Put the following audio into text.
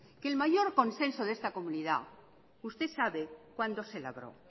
que el mayor consenso de esta comunidad usted sabe cuando se labró